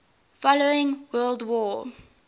following world war